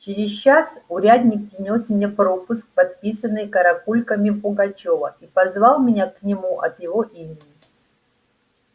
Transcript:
через час урядник принёс мне пропуск подписанный каракульками пугачёва и позвал меня к нему от его имени